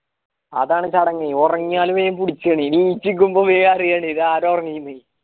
അതാണ് നീ ഒറങ്ങിയാലും വേഗം പുടിച്ചെന് എണീകുകുമ്പം വേഗം അറിയാണ് ഇതാര് ഒറങ്ങീന്